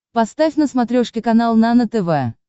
поставь на смотрешке канал нано тв